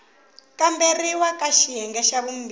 kamberiwa ka xiyenge xa vumbirhi